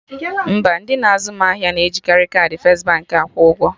Mba, ndị na-azụ m ahịa na ejikari kaadị first Baankị akwụ ụgwọ